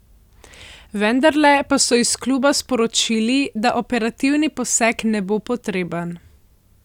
Vendarle pa so iz kluba sporočili, da operativni poseg ne bo potreben.